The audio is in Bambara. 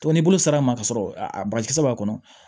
n'i bolo sera ma ka sɔrɔ a bagakisɛ b'a kɔnɔ